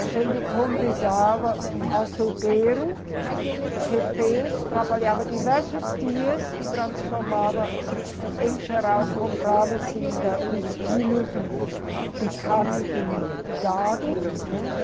A gente convidava um açougueiro que fez, trabalhava diversos dias e transformava, assim, em geral comprava-se ainda uns quilos de, de carne de gado, né?